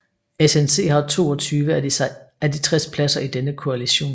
SNC har 22 af de 60 pladser i denne koalition